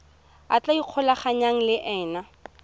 a tla ikgolaganyang le ena